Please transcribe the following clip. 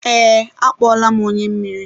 ee, akpọọla m onye mmiri.